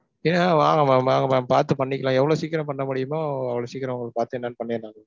yeah வாங்க mam வாங்க mam. பாத்து பண்ணிக்கலாம். எவ்வளவு சீக்கிரம் பண்ண முடியுமோ அவ்வளவு சீக்கிரம் உங்களுக்கு பாத்து என்னனு பண்ணிரலாம் mam.